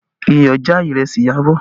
Iyọ̀ já ìrẹsì Iyabọ̀